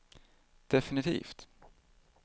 definitivt